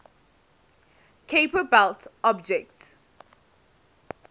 kuiper belt objects